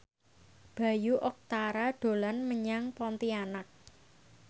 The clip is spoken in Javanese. Bayu Octara dolan menyang Pontianak